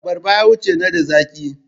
Abarba yawanci nada zaki.